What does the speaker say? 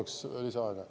Kolm minutit lisaks.